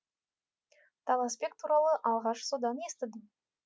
таласбек туралы алғаш содан естідім